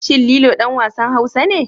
Shin Lilo ɗan wasan Hausa ne?